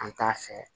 An t'a fɛ